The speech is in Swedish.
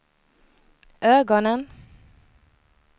ögonen